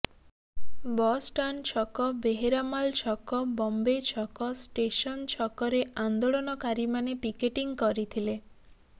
bus stand ଛକ ବେହେରାମାଲ ଛକ ବମ୍ବେ ଛକ ଷ୍ଟେସନ ଛକରେ ଆନ୍ଦୋଳନକାରୀ ମାନେ ପିକେଟିଂ କରିଥିଲେ